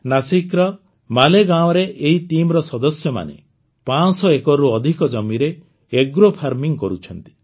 ନାସିକର ମାଲେଗାଓଁରେ ଏହି ଟିମ୍ର ସଦସ୍ୟମାନେ ୫୦୦ ଏକରରୁ ଅଧିକ ଜମିରେ ଆଗ୍ରୋ ଫାର୍ମିଂ କରୁଛନ୍ତି